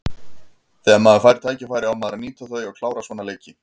Þegar maður fær tækifæri á maður að nýta þau og klára svona leiki.